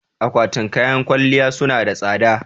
Akwatin kayan kwalliya su na da tsada